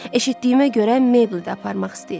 Eşitdiyimə görə mebel də aparmaq istəyir.